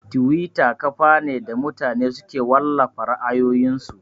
Tiwita kafa ne da mutane suke wallafa ra'ayoyin su